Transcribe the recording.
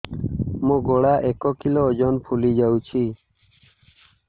ମୋ ଗଳା ଏକ କିଲୋ ଓଜନ ଫୁଲି ଯାଉଛି